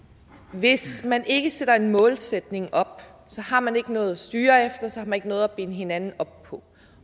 hvis man ikke sætter en målsætning op så har man ikke noget at styre efter så har man ikke noget at binde hinanden op på